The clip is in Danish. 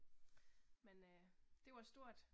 Men øh, det var stort